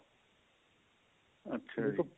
ਅੱਛਾ ਜੀ